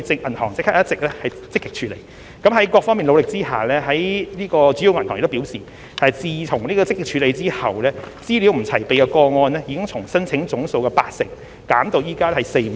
銀行已就這方面積極處理，而在各方努力下，銀行表示自問題獲積極處理後，資料不齊備的個案已從申請總數的八成減至現時只有約四五成。